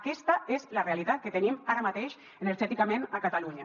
aquesta és la realitat que tenim ara mateix energèticament a catalunya